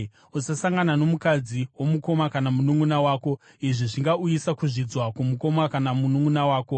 “ ‘Usasangana nomukadzi womukoma kana mununʼuna wako; izvi zvingauyisa kuzvidzwa kwomukoma kana mununʼuna wako.